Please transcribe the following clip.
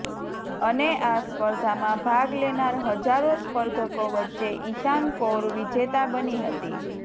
અને આ સ્પર્ધામાં ભાગ લેનાર હજારો સ્પર્ધકો વચ્ચે ઈશાન કૌર વિજેતા બની હતી